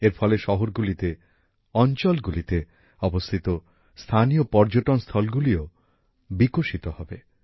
এর ফলে শহরগুলিতে অঞ্চলগুলিতে অবস্থিত স্থানীয় পর্যটনস্থলগুলিও বিকশিত হবে